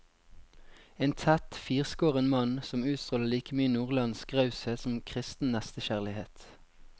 En tett, firskåren mann, som utstråler like mye nordlandsk raushet som kristen nestekjærlighet.